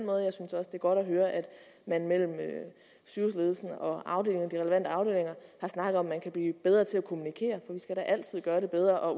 godt at høre at man mellem sygehusledelsen og de relevante afdelinger har snakket om at man kan blive bedre til at kommunikere for vi skal da altid gøre det bedre og